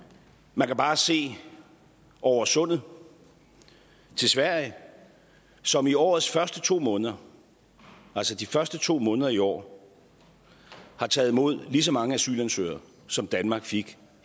man kan bare se over sundet til sverige som i årets første to måneder altså de første to måneder i år har taget imod lige så mange asylansøgere som danmark fik